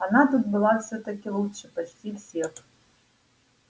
она тут была всё-таки лучше почти всех